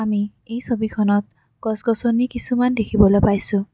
আমি এই ছবিখনত গছ-গছনি কিছুমান দেখিবলৈ পাইছোঁ।